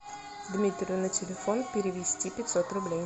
дмитрию на телефон перевести пятьсот рублей